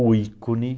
O ícone.